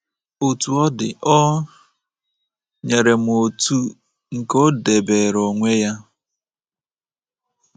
Otú ọ dị, o nyere m otu nke o debeere onwe ya.